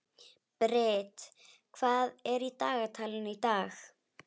Brit, hvað er í dagatalinu í dag?